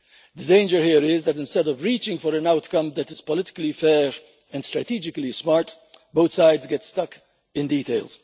The danger here is that, instead of reaching for an outcome that is politically fair and strategically smart, both sides get stuck in detail.